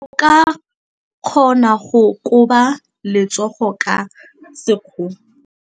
O ka kgona go koba letsogo ka sekgono.